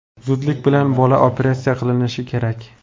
Zudlik bilan bola operatsiya qilinishi kerak.